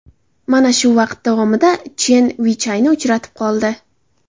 Mana shu vaqt davomida Chen Vichayni uchratib qoldi.